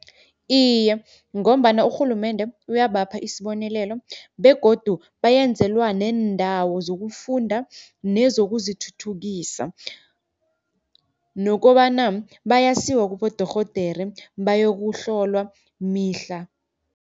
Iye, ngombana urhulumende uyabapha isibonelelo begodu bayenzelwa neendawo zokufunda nezokuzithuthukisa. Nokobana bayasiwa kibodorhodere bayokuhlolwa mihla.